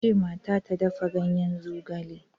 Ka ce mata ta dafa ganyen zogale!